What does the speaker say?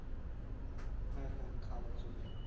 হ্যাঁ হ্যাঁ খাওয়ার জন্য